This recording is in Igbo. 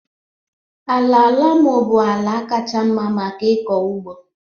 Ala loamo bụ ala kacha mma maka ịkọ ugbo